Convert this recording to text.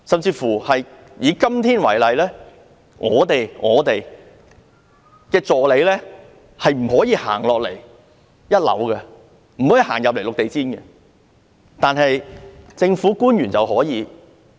就以今天為例，為何我們的助理不能踏入1樓"綠地毯"範圍，但政府官員卻可以？